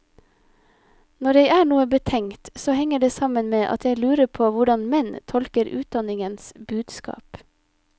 Når jeg er noe betenkt, så henger det sammen med at jeg lurer på hvordan menn tolker utdanningens budskap.